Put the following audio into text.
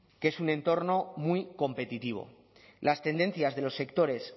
que es un entorno muy competitivo las tendencias de los sectores